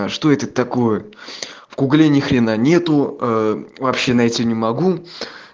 а что это такое в гугле ни хрена нету вообще найти не могу